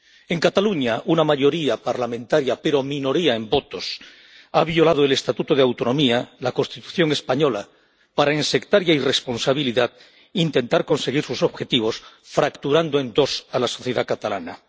En Cataluña, una mayoría parlamentaria, pero minoría en votos, ha violado el Estatuto de Autonomía y la Constitución española, para en sectaria irresponsabilidad intentar conseguir sus objetivos, fracturando en dos a la sociedad catalana.